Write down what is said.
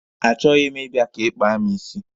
Achọghị m ịbịa ka ị kpaa mụ isi.